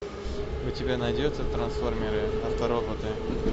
у тебя найдется трансформеры автороботы